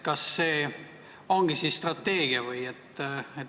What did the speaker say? Kas see ongi siis strateegia või?